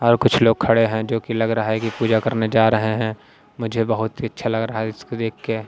और कुछ लोग खड़े हैंजो कि लग रहा हैकि पूजा करने जा रहे हैं मुझे बहुत ही अच्छा लग रहा है इसको देख के।